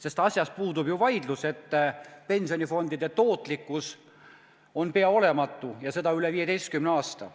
Sest asjas puudub ju vaidlus, et pensionifondide tootlikkus on pea olematu ja seda üle 15 aasta.